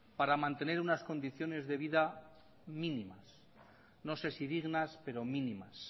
para mantener unas condiciones de vida mínimas no sé si dignas pero mínimas